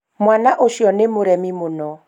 mwana ũcio nĩ mũremi mũno